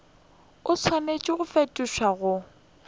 o swanetše go fetišetšwa go